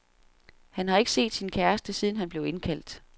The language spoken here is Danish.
Han har ikke set sin kæreste, siden han blev indkaldt.